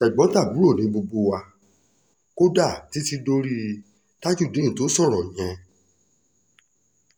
tẹ̀gbọ́n-tàbúrò ni gbogbo wa kódà títí dorí tajudeen tó sọ̀rọ̀ yẹn